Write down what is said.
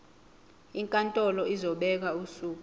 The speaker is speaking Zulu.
inkantolo izobeka usuku